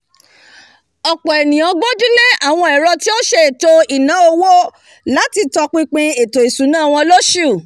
ọ̀pọ̀ ènìyàn gbójú lé àwọn ẹ̀rọ tí ó sètò ìlànà owó láti tọ pinpin ètò ìsúná wọn lósù